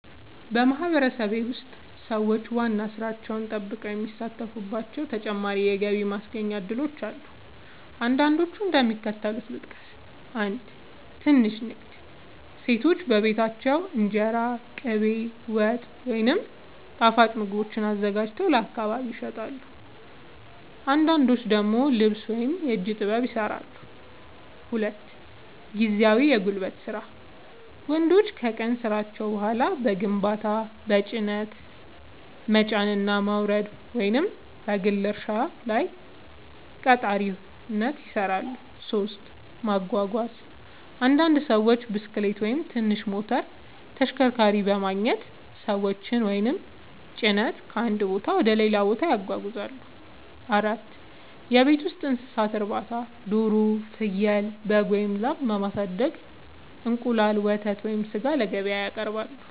በማህበረሰቤ ውስጥ ሰዎች ዋና ሥራቸውን ጠብቀው የሚሳተፉባቸው ተጨማሪ የገቢ ማስገኛ እድሎች አሉ። አንዳንዶቹን እንደሚከተለው ልጠቅስ፦ 1. ትንሽ ንግድ – ሴቶች በቤታቸው እንጀራ፣ ቅቤ፣ ወጥ ወይም ጣፋጭ ምግቦችን አዘጋጅተው ለአካባቢ ይሸጣሉ። አንዳንዶች ደግሞ ልብስ ወይም የእጅ ጥበብ ሥራዎችን ይሠራሉ። 2. ጊዜያዊ የጉልበት ሥራ – ወንዶች ከቀን ሥራቸው በኋላ በግንባታ፣ በጭነት መጫንና ማውረድ፣ ወይም በግል እርሻ ላይ ቀጣሪነት ይሠራሉ። 3. ማጓጓዝ – አንዳንድ ሰዎች ብስክሌት ወይም ትንሽ ሞተር ተሽከርካሪ በማግኘት ሰዎችን ወይም ጭነት ከአንድ ቦታ ወደ ሌላ ያጓጉዛሉ። 4. የቤት ውስጥ እንስሳት እርባታ – ዶሮ፣ ፍየል፣ በግ ወይም ላም በማሳደግ እንቁላል፣ ወተት ወይም ሥጋ ለገበያ ያቀርባሉ።